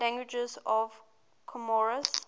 languages of comoros